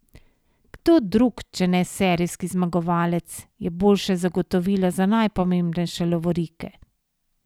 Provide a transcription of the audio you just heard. Kdo drug, če ne serijski zmagovalec, je boljše zagotovilo za najpomembnejše lovorike?